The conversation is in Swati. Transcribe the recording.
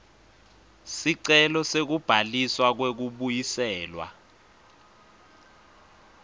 sicelo sekubhaliswa kwekubuyiselwa